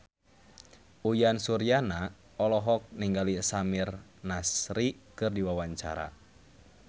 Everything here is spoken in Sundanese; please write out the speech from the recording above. Uyan Suryana olohok ningali Samir Nasri keur diwawancara